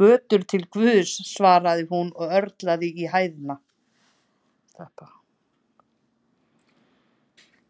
götur til Guðs, svaraði hún og örlaði á hæðni.